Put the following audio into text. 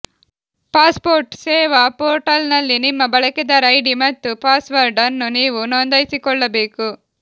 passport Seva portal ನಲ್ಲಿ ನಿಮ್ಮ ಬಳಕೆದಾರ ಐಡಿ ಮತ್ತು ಪಾಸ್ವರ್ಡ್ ಅನ್ನು ನೀವು ನೋಂದಾಯಿಸಿಕೊಳ್ಳಬೇಕು